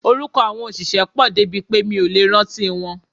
Orúkọ àwọn òṣìṣẹ́ pọ̀ débi pé mi ò lè rántí wọn.